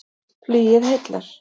Flugið heillar